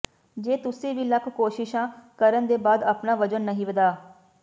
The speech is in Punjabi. ਜੇ ਤੁਸੀਂ ਵੀ ਲੱਖ ਕੋਸ਼ਿਸ਼ਾ ਕਰਨ ਦੇ ਬਾਅਦ ਆਪਣਾ ਵਜ਼ਨ ਨਹੀਂ ਵਧਾ